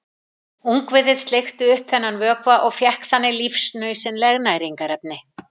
Ungviðið sleikti upp þennan vökva og fékk þannig lífsnauðsynleg næringarefni.